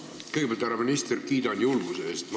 Kõigepealt, härra minister, kiidan julguse eest!